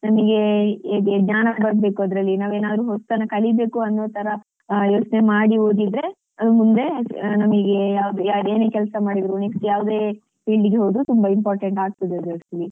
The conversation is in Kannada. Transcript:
ನಮಿಗೆ ಜ್ಞಾನ ಬರ್ಬೇಕು ಅದ್ರಲ್ಲಿ ನಾವೇನಾದ್ರು ಹೊಸ್ತನ್ನು ಕಲಿಬೇಕು ಅನ್ನುವ ತರ ಯೋಚ್ನೆ ಮಾಡಿ ಓದಿದ್ರೆ ಅದು ಮುಂದೆ ನಮಿಗೆ ಯಾವ್ದೆ ಏನೇ ಕೆಲ್ಸ ಮಾಡಿದ್ರು next ಯಾವ್ದೇ field ಗು ಹೋದ್ರು ತುಂಬ important ಆಗ್ತದೆ ಅದು actually ಹಾಗೆ.